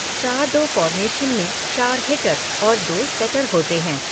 चार दो फॉर्मेशन में चार हिटर और दो सेटर होते है।